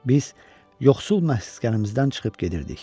Biz yoxsul məskənimizdən çıxıb gedirdik.